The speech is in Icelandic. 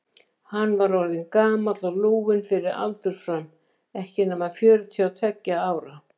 Hann var orðinn gamall og lúinn fyrir aldur fram, ekki nema fjörutíu og tveggja ára.